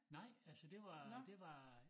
Nej altså det var det var